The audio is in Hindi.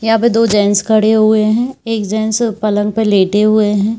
यहाँ पे दो जेंट्स खड़े हुए हैं एक जेंट्स पलंग पे लेटे हुए हैं।